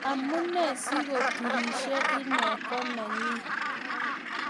Amunee si koturishe inne ko nanyee